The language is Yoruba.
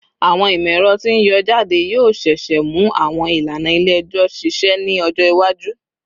Awọn imọ-ẹrọ ti n yọ jade yoo ṣee ṣe mu awọn ilana ile-ẹjọ ṣiṣẹ ni ọjọ iwaju